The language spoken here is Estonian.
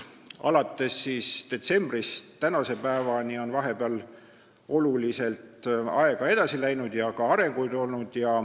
Detsembrist tänase päevani on aeg oluliselt edasi läinud ja ka arenguid on olnud.